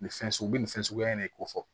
Nin fɛn sugu u bi nin fɛn suguya in de ko fɔ